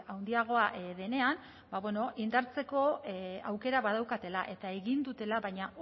handiagoa denean ba bueno indartzeko aukera badaukatela eta egin dutela baina